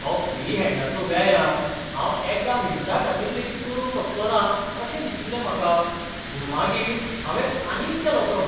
तो फ्री हॅंडाचो व्यायाम हांव एका मिनटाखातीर लेगीत करूंक शकचो ना, अशें दिशिल्लें म्हाका, पूण मागीर हांवें आनीक केलो तो.